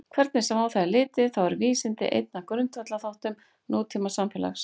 Hvernig sem á það er litið þá eru vísindi einn af grundvallarþáttum nútímasamfélags.